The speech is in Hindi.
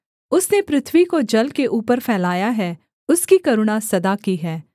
उसने पृथ्वी को जल के ऊपर फैलाया है उसकी करुणा सदा की है